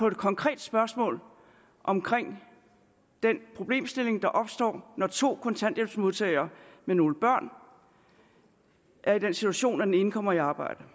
det konkrete spørgsmål omkring den problemstilling der opstår når to kontanthjælpsmodtagere med nogle børn er i den situation at den ene kommer i arbejde